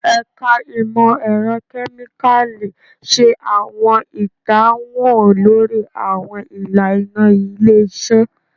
Ẹka Imọ-ẹrọ Kemikali ṣe awọn idanwo lori awọn ilana ile-iṣẹ